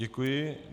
Děkuji.